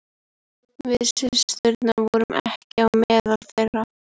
Við systurnar vorum ekki meðal þeirra.